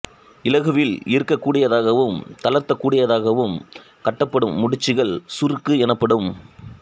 இலகுவில் இறுக்கக் கூடியதாகவும் தளர்த்தக் கூடியதாகவும் கட்டப்படும் முடிச்சுகள் சுருக்கு எனப்படும்